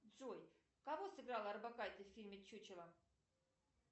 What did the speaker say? джой кого сыграла орбакайте в фильме чучело